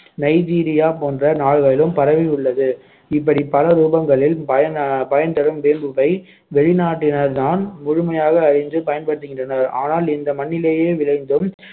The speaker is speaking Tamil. நைஜீரியா போன்ற நாடுகளிலும் பரவி உள்ளது இப்படி பல ரூபங்களில் பயன் அஹ் பயன் தரும் வேம்புவை வெளிநாட்டினர்தான் முழுமையாக அறிந்து பயன்படுத்துகின்றனர் ஆனால் இந்த மண்ணிலேயே விளைந்தும்